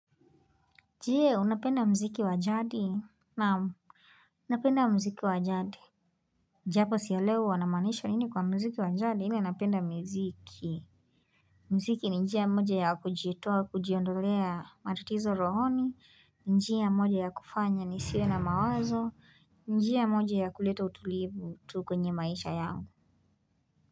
Je, unapenda muziki wajadi? Naam, napenda muziki wa jadi. Japo sielewi wanamaanisha nini kwa muziki wa jadi, ila napenda mziki. Muziki ni njia ya moja ya kujitoa, kujiondolea matatizo rohoni, njia ya moja ya kufanya nisiwe na mawazo, njia ya moja ya kuleta utulivu tu kwenye maisha yangu.